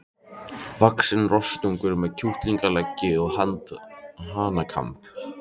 vaxinn rostung með kjúklingaleggi og hanakamb.